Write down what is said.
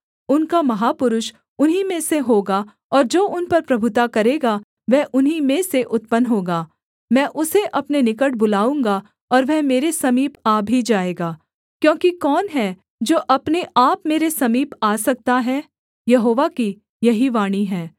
उनका महापुरुष उन्हीं में से होगा और जो उन पर प्रभुता करेगा वह उन्हीं में से उत्पन्न होगा मैं उसे अपने निकट बुलाऊँगा और वह मेरे समीप आ भी जाएगा क्योंकि कौन है जो अपने आप मेरे समीप आ सकता है यहोवा की यही वाणी है